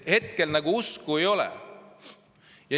Hetkel usku ei ole.